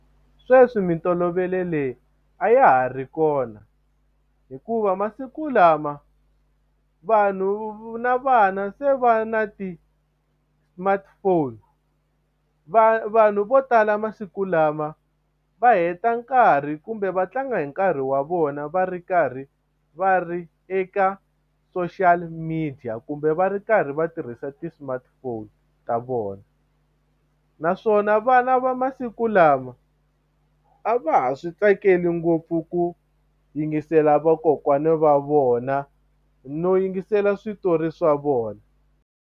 Sweswi mintolovelo leyi a ya ha ri kona hikuva masiku lama vanhu na vana se va na ti-smartphone vanhu vo tala masiku lama va heta nkarhi kumbe va tlanga hi nkarhi wa vona va ri karhi va ri eka social media kumbe va ri karhi va tirhisa ti-smartphone ta vona naswona vana va masiku lama a va ha swi tsakeli ngopfu ku yingisela vakokwana va vona no yingisela switori swa vona.